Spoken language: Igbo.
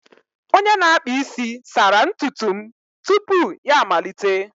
Onye na-akpa isi sara ntutu m tupu ya amalite